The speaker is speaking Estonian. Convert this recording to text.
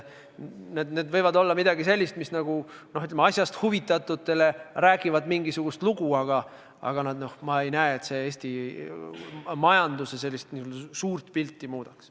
Need võivad olla midagi sellist, mis asjast huvitatutele räägivad mingisugust lugu, aga ma ei näe, et need Eesti majanduse suurt pilti muudaks.